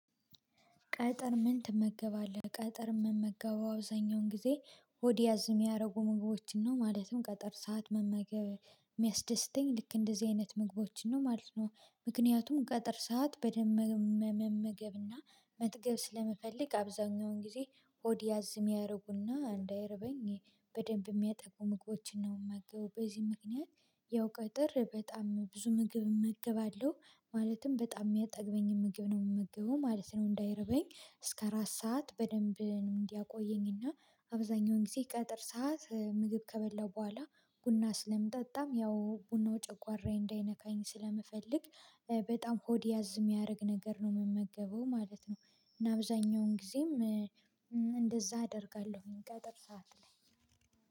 ቀትር ምን ትመገባለህ? ቀትር የምመገበው አብዛኛውን ጊዜ ሆድ ያዝ የሚያረጉ ምግቦችን ነው። ማለትም ቀትር ሰዓት መመገብ የሚያስደስተኝ ልክ እንደዚህ አይነት ምግቦችን ነው ማለት ነው። ምክንያቱም ቀትር ሰዓት በደንብ መመገብና መጥገብ ስለምፈለግ አብዛኛውን ጊዜ ሆድ ያዝ የሚያደርጉና እንዳይርበኝ በደንብ የሚያጠግቡ ምግቦችን ነው የምመገበው በዚህ ምክንያት። ያው ቀትር በጣም ብዙ ምግብ እመገባለሁ። ማለትም በጣም የሚያጠግበኝ ምግብ ነው የምመግበው ማለት ነው። እንዳይርበኝ እስከ አራት ሰዓት በደንብ እንዲያቆየኝ እና። አብዛኛውን ጊዜ ቀትር ሰዓት ምግብ ከበላው በኋላ ቡና ስለምጠጣም ያው ቡናው ጨቋራዬ እንዳይነካኝ ስለምፈልግ። በጣም ሆድ ያዝ የሚያደርግ ነገር ነው የምመገበው ማለት ነው። እና አብዛኛውን ጊዜም እንደዛ አደርጋለሁኝ። ቀትር ሰዓት ላይ